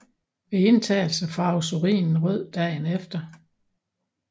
Ved indtagelse farves urinen rød dagen efter